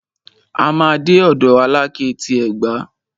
A máa dé ọ̀dọ̀ Alákẹ́ ti Ẹ̀gbá.